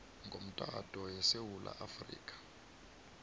ngomtato yesewula afrika